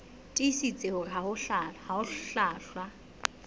tiisitse hore ha ho hlwahlwa